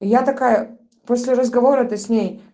я такая после разговора то с ней